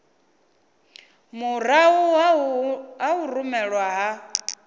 murahu ha u rumelwa ha